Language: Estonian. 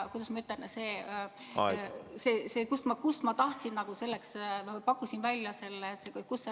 Või oli põhjuseks see, kust ma tahtsin selle raha võtta?